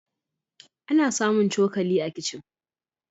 Ana samun cokali a kicin.